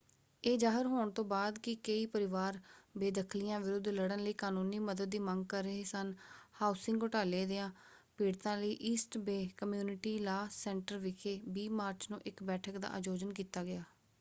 ਇਹ ਜ਼ਾਹਰ ਹੋਣ ਤੋਂ ਬਾਅਦ ਕਿ ਕਈ ਪਰਿਵਾਰ ਬੇਦਖ਼ਲੀਆਂ ਵਿਰੁੱਧ ਲੜਨ ਲਈ ਕਾਨੂੰਨੀ ਮਦਦ ਦੀ ਮੰਗ ਕਰ ਰਹੇ ਸਨ ਹਾਊਸਿੰਗ ਘੁਟਾਲੇ ਦਿਆਂ ਪੀੜਤਾਂ ਲਈ East Bay community law centre ਵਿਖੇ 20 ਮਾਰਚ ਨੂੰ ਇੱਕ ਬੈਠਕ ਦਾ ਆਯੋਜਨ ਕੀਤਾ ਗਿਆ।